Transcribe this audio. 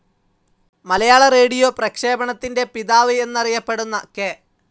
മലയാള radio പ്രക്ഷേപണത്തിൻ്റെ പിതാവ് എന്നറിയപ്പെടുന്ന കെ.